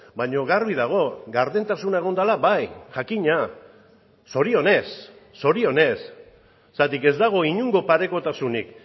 baina garbi dago gardentasuna egon dela bai jakina zorionez zorionez zergatik ez dago inongo parekotasunik